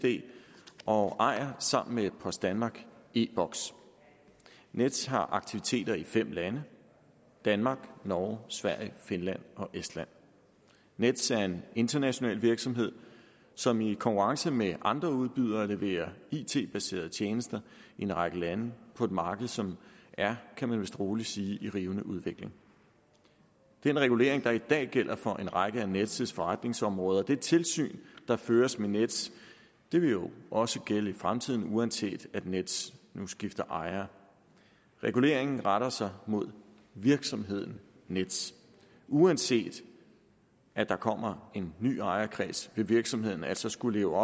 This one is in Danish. og ejer sammen med post danmark e boks nets har aktiviteter i fem lande danmark norge sverige finland og estland nets er en international virksomhed som i konkurrence med andre udbydere leverer it baserede tjenester i en række lande på et marked som er kan man vist roligt sige i rivende udvikling den regulering der i dag gælder for en række af nets nets forretningsområder det tilsyn der føres med nets vil jo også gælde i fremtiden uanset at nets nu skifter ejer reguleringen retter sig mod virksomheden nets uanset at der kommer en ny ejerkreds vil virksomheden altså skulle leve